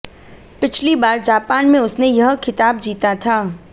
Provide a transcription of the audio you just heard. पिछली बार जापान में उसने यह खिताब जीता था